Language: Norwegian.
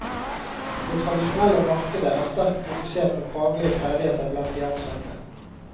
Det tradisjonelle markedet er sterkt fokusert på faglige ferdigheter blant de ansatte.